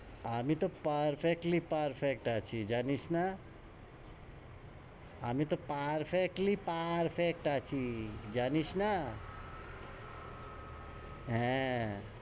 আমি তহ perfectly perfect আছি, জানিস না? আমি তহ perfectly perfect আছি, জানিস না হ্যাঁ.